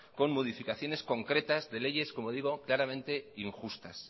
con modificaciones concretas de leyes como digo claramente injustas